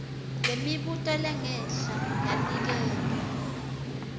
lemibuto lengenhla yaniketwa